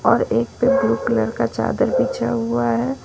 और एक पे ब्लू कलर का चादर बिछा हुआ है।